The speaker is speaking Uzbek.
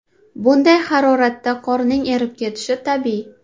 Bunday haroratda qorning erib ketishi tabiiy.